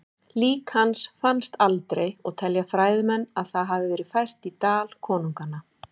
Lík hans fannst aldrei og telja fræðimenn að það hafi verið fært í Dal konunganna.